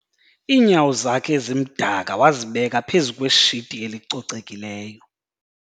iinyawo zakhe ezimdaka wazibeka phezu kweshiti elicocekileyo